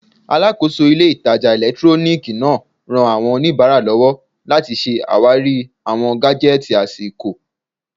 Alàkóso ilé ìtajà ẹ̀lẹ́túróníìkì náà ran àwọn oníbàárà lọ́wọ́ láti ṣe àwárí awọn gájẹ́tìì àsìkò